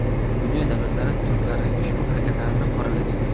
Dunyo davlatlari turklarning ushbu harakatlarini qoralagan.